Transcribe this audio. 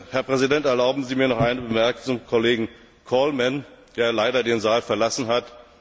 Herr Präsident, erlauben Sie mir noch eine Bemerkung zum Kollegen Colman, der leider den Saal verlassen hat.